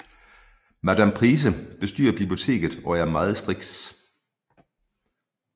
Madam Pince bestyrer biblioteket og er meget striks